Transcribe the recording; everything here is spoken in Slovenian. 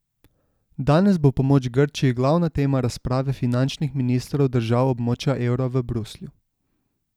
Danes bo pomoč Grčiji glavna tema razprave finančnih ministrov držav območja evra v Bruslju.